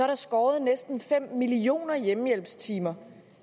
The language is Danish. der skåret næsten fem millioner hjemmehjælpstimer